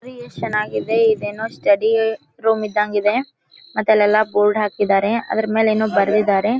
ಇದು ಚೆನ್ನಾಗಿದೆ ಇದು ಏನೋ ಸ್ಟಡಿ ರೂಮ್ ಇದ್ದಂಗೆ ಇದೆ ಮತ್ತೆ ಅಲ್ಲೆಲ್ಲ ಬೋರ್ಡ್ ಹಾಕಿದ್ದಾರೆ ಅದ್ರ ಮೇಲೆ ಏನೋ ಬರಿದಿದ್ದಾರೆ.